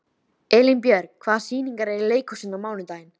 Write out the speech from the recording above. Elínbjörg, hvaða sýningar eru í leikhúsinu á mánudaginn?